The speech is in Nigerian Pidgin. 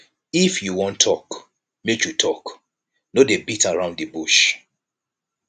if you wan tok make you tok no dey beat around di bush